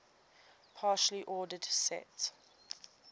partially ordered set